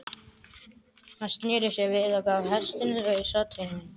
Hann sneri sér við og gaf hestinum lausan tauminn.